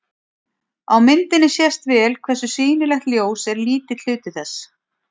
Á myndinni sést vel hversu sýnilegt ljós er lítill hluti þess.